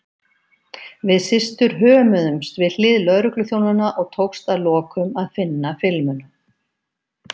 Við systur hömuðumst við hlið lögregluþjónanna og tókst að lokum að finna filmuna.